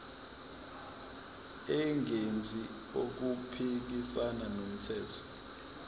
engenzi okuphikisana nomthetho